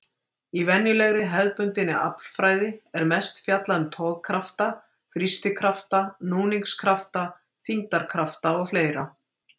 Í venjulegri, hefðbundinni aflfræði er mest fjallað um togkrafta, þrýstikrafta, núningskrafta, þyngdarkrafta og fleira.